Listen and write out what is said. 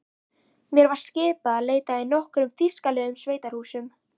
Mér var skipað að leita í nokkrum þýskulegum sveitahúsum.